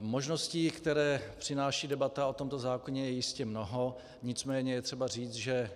Možností, které přináší debata o tomto zákoně, je jistě mnoho, nicméně je třeba říci, že